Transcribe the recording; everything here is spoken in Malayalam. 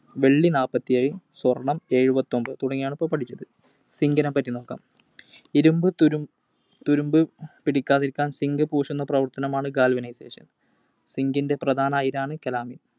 വെള്ളി നാല്പത്തിയേഴ്. സ്വർണം എഴുപത്തിയൊമ്പതു തുടങ്ങിയവയാണ് ഇപ്പൊ പഠിച്ചത്. Zinc നെ പറ്റി നോക്കാം. ഇരുമ്പ് തുരു~തുരുമ്പ് പിടിക്കാതിരിക്കാൻ zinc പൂശുന്ന പ്രവർത്തനമാണ് galvanization. Zinc ൻറെ പ്രധാന അയിരാണ് Calamine.